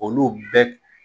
Olu bɛ